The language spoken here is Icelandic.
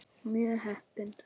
Og mjög heppin!